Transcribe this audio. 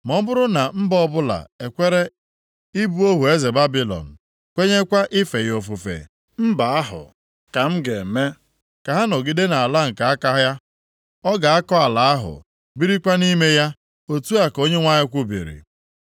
Ma ọ bụrụ na mba ọbụla ekwere ịbụ ohu eze Babilọn, kwenyekwa ife ya ofufe, mba ahụ ka m ga-eme ka ọ nọgide nʼala nke aka ya. Ọ ga-akọ ala ahụ, birikwa nʼime ya. Otu a ka Onyenwe anyị kwubiri.” ’”